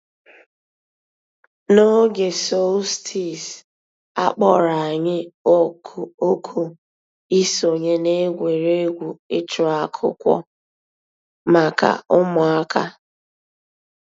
N'ǒgè solstice, a kpọ̀rọ̀ ànyị̀ òkù ìsọǹyé n'ègwè́ré́gwụ̀ ịchụ̀ àkụ̀kwò mǎká ǔ́mụ̀àkà.